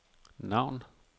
navn